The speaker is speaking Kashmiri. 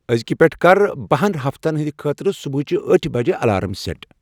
أزکِہ پیٹھ کر بَہہَن ہفتن ہٕندۍ خٲطرٕ صبحٲچِہ ٲٹھہٕ بجِہ ہُند الارام سیٹ ۔